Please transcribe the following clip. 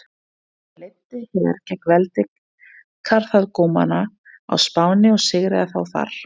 Hann leiddi her gegn veldi Karþagómanna á Spáni og sigraði þá þar.